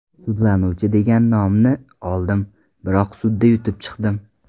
Sudlanuvchi degan nomni oldim, biroq sudda yutib chiqdim.